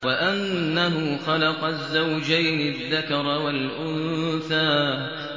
وَأَنَّهُ خَلَقَ الزَّوْجَيْنِ الذَّكَرَ وَالْأُنثَىٰ